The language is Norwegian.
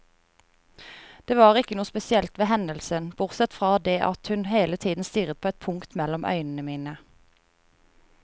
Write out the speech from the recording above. Det var ikke noe spesielt ved hendelsen, bortsett fra det at hun hele tiden stirret på et punkt mellom øynene mine.